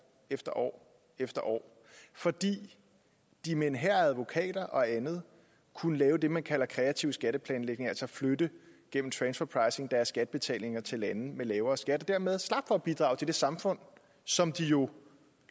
efter år efter år fordi de med en hær af advokater og andet kunne lave det man kalder kreativ skatteplanlægning altså flytte deres skattebetalinger til lande med lavere skat og dermed slap for at bidrage til det samfund som de jo